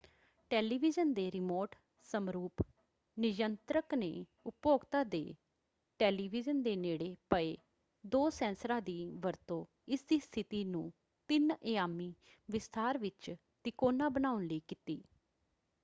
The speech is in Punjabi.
ਟੈਲੀਵਿਜ਼ਨ ਦੇ ਰਿਮੋਟ ਸਮਰੂਪ ਨਿਯੰਤਰਕ ਨੇ ਉਪਭੋਗਤਾ ਦੇ ਟੈਲੀਵਿਜ਼ਨ ਦੇ ਨੇੜੇ ਪਏ ਦੋ ਸੈਂਸਰਾਂ ਦੀ ਵਰਤੋਂ ਇਸਦੀ ਸਥਿਤੀ ਨੂੰ ਤਿੰਨ-ਅਯਾਮੀ ਵਿਸਥਾਰ ਵਿੱਚ ਤਿਕੋਣਾ ਬਣਾਉਣ ਲਈ ਕੀਤੀ।